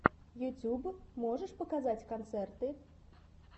ютюб можешь показать концерты